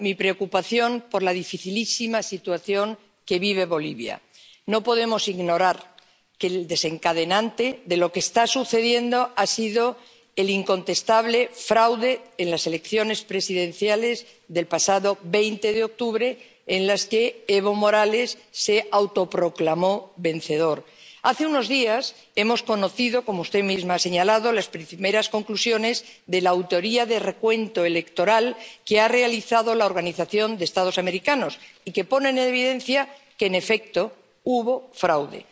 Señora presidenta, señora Mogherini, quiero comenzar mostrando mi preocupación por la dificilísima situación que vive Bolivia. No podemos ignorar que el desencadenante de lo que está sucediendo ha sido el incontestable fraude en las elecciones presidenciales del pasado 20 de octubre en las que Evo Morales se autoproclamó vencedor. Hace unos días, hemos conocido —como usted misma ha señalado— las primeras conclusiones de la auditoría de recuento electoral que ha realizado la Organización de los Estados Americanos y que pone en evidencia que, en efecto, hubo fraude.